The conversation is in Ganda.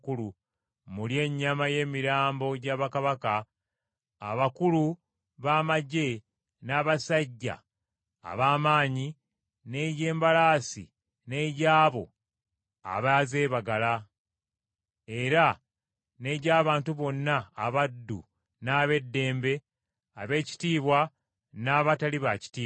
mulye ennyama y’emirambo gya bakabaka, abakulu b’amaggye n’abasajja ab’amaanyi, n’egy’embalaasi n’egy’abo abazeebagala, era n’egy’abantu bonna abaddu n’ab’eddembe, abeekitiibwa n’abatali baakitiibwa.”